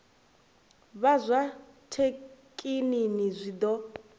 vha zwa thekinini zwi ḓo